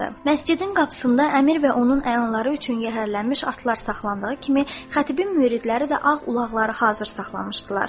Məscidin qapısında əmir və onun əyanları üçün yəhərlənmiş atlar saxlandığı kimi, xətibin müridləri də ağ ulaqları hazır saxlamışdılar.